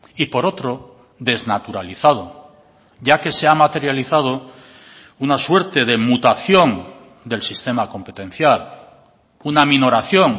y por otro desnaturalizado ya que se ha materializado una suerte de mutación del sistema competencial una minoración